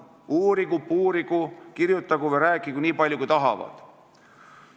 Uurigu, puurigu, kirjutagu või rääkigu nii palju, kui tahavad.